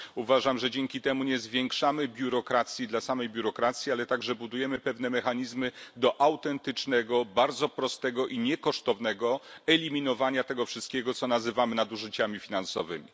Uważam, że dzięki temu nie zwiększamy biurokracji dla samej biurokracji, ale także budujemy pewne mechanizmy do autentycznego, bardzo prostego i niekosztownego eliminowania tego wszystkiego, co nazywamy nadużyciami finansowymi.